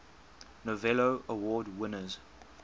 novello award winners